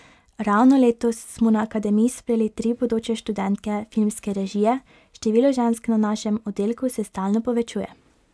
Ravno letos smo na akademiji sprejeli tri bodoče študentke filmske režije, število žensk na našem oddelku se stalno povečuje.